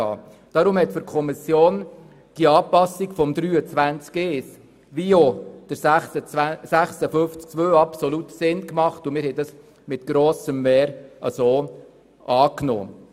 Für die Kommission waren deshalb die Anpassungen der Artikel 23 Absatz 1 und Artikel 56 Absatz 2 absolut sinnvoll, und sie nahm die beiden Anträge mit grossem Mehr an.